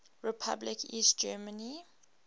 republic east germany